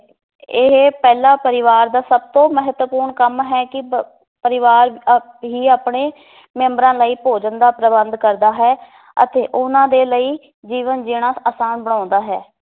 ਇਹ ਪਹਿਲਾਂ ਪਰਿਵਾਰ ਦਾ ਸਭ ਤੋਂ ਮਹੱਤਵਪੂਰਨ ਕੰਮ ਹੈ ਕਿ ਪ ਪਰਿਵਾਰ ਅਹ ਹੀ ਆਪਣੇ ਮੈਂਬਰਾਂ ਲਈ ਭੋਜਨ ਦਾ ਪ੍ਰਬੰਧ ਕਰਦਾ ਹੈ ਅਤੇ ਉਹਨਾਂ ਦੇ ਲਈ ਜੀਵਨ ਜੀਣਾ ਆਸਾਨ ਬਣਾਉਂਦਾ ਹੈ